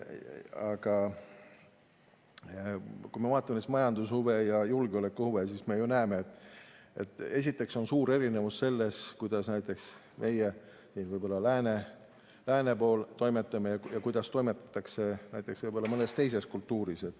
Aga kui me vaatame majandushuve ja julgeolekuhuve, siis me ju näeme, et esiteks on suur erinevus selles, kuidas näiteks meie lääne pool toimetame ja kuidas toimetatakse mõnes teises kultuuris.